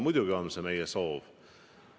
Muidugi on see meie soov.